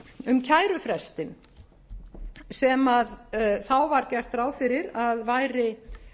um kærufrestinn sem þá var gert ráð fyrir að væri